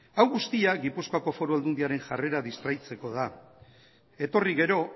hau guztia gipuzkoako foru aldundiaren jarrera distraitzeko da etorri gero